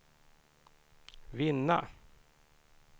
vinna